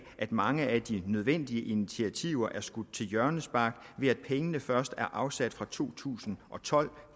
at mange af de nødvendige initiativer er skudt til hjørnespark ved at pengene først er afsat fra to tusind og tolv